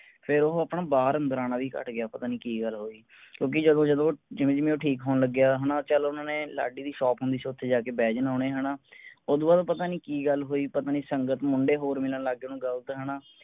ਫੇਰ ਉਹ ਆਪਣਾ ਬਾਹਰ ਅੰਦਰ ਆਣਾ ਵੀ ਘਟ ਗਿਆ ਪਤਾ ਨੀ ਕੀ ਗੱਲ ਹੋਈ ਕਿਉਂਕਿ ਜਦੋਂ ਜਦੋਂ ਜਿਵੇਂ ਜਿਵੇਂ ਉਹ ਠੀਕ ਹੋਣ ਲੱਗ ਗਿਆ ਚਲੋ ਓਹਨਾ ਨੇ ਲਾਡੀ ਦੀ ਸੋਖ ਨੂੰ ਓਥੇ ਜਾ ਕੇ ਬਹਿ ਜਾਣਾ ਓਹਨੇ ਓਦੋਂ ਬਾਅਦ ਪਤਾ ਨੀ ਕੀ ਗੱਲ ਹੋਈ ਪਤਾ ਨੀ ਸੰਗਤ ਮੁੰਡੇ ਹੋਰ ਮਿਲਣ ਲੱਗ ਗਏ ਓਹਨੂੰ ਗਲਤ ਹੈਨਾ